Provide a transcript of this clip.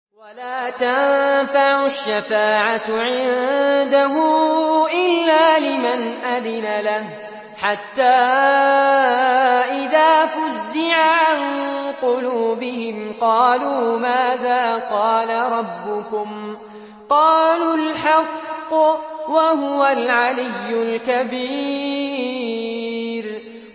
وَلَا تَنفَعُ الشَّفَاعَةُ عِندَهُ إِلَّا لِمَنْ أَذِنَ لَهُ ۚ حَتَّىٰ إِذَا فُزِّعَ عَن قُلُوبِهِمْ قَالُوا مَاذَا قَالَ رَبُّكُمْ ۖ قَالُوا الْحَقَّ ۖ وَهُوَ الْعَلِيُّ الْكَبِيرُ